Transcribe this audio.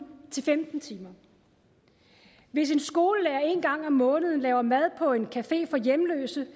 til femten timer hvis en skolelærer en gang om måneden laver mad på en café for hjemløse